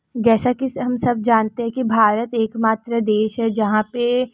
जसा की हम सब जानते हे की भारत एक मात्र देश हे जाहापे-ए--